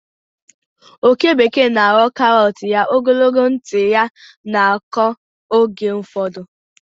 oke bekee na-arọ karọt ya, ogologo ntị ya na-akụ oge ụfọdụ.